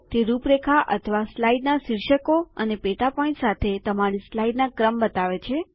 તે રૂપરેખા અથવા સ્લાઇડના શિર્ષકો અને પેટા પોઈન્ટ સાથે તમારી સ્લાઇડ્સ ના ક્રમ બતાવે છે